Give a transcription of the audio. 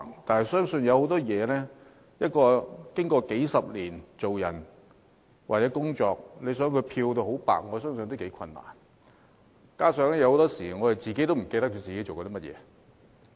但是，一個人生活工作數十年，要漂到很白是頗為困難，而且很多時候，我們也忘記自己曾做過甚麼。